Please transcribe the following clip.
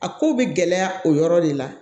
A ko bɛ gɛlɛya o yɔrɔ de la